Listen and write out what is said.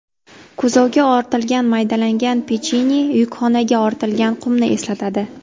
Kuzovga ortilgan maydalangan pechenye yukxonaga ortilgan qumni eslatadi.